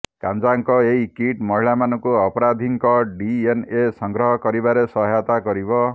କାଞ୍ଜାଙ୍କ ଏହି କିଟ୍ ମହିଳାମାନଙ୍କୁ ଅପରାଧୀଙ୍କ ଡିଏନଏ ସଂଗ୍ରହ କରିବାରେ ସହାୟତା କରିବ